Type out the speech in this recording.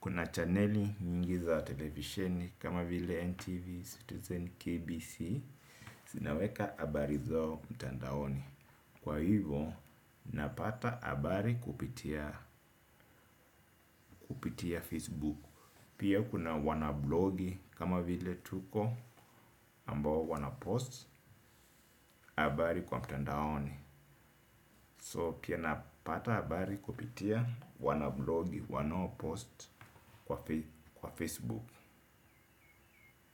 Kuna chaneli nyingi za televisheni kama vile NTV Citizen KBC. Sinaweka abari zao mtandaoni. Kwa hivo napata abari kupitia Facebook. Pia kuna wana blogi kama vile Tuko ambao wana post abari kwa mtandaoni So pia napata habari kupitia wana vlogi, wana post. Kwa Facebook.